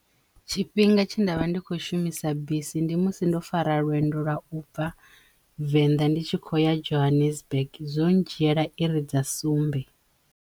Tshifhinga tshe ndavha ndi kho shumisa bisi ndi musi ndo fara lwendo lwa u bva Venḓa ndi tshi khou ya Johannesburg zwo dzhiela i ri dza sumbe.